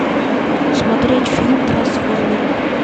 смотреть фильм трансформеры